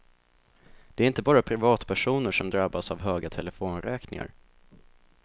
Det är inte bara privatpersoner som drabbas av höga telefonräkningar.